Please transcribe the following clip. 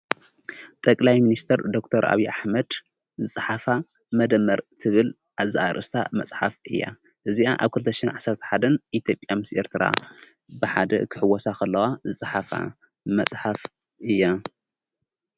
ጠቕላይ ምንስተር ዶር ኣብ ዓኅመድ ፀሓፋ መደመር ትብል ኣዛኣርስታ መጽሓፍ እያ እዚኣ ኣብ ኰልተ ሽን ዓሣትሓደን ይተብኣ ምስአርትራ ብሓደ ኽሕወሳ ኸለዋ ፀሓፋ መጽሓፍ እያ።